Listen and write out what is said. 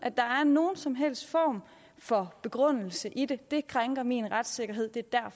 nogen som helst form for begrundelse det det krænker min retsfølelse og det er